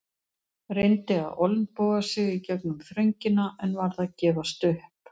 Reyndi að olnboga sig í gegnum þröngina en varð að gefast upp.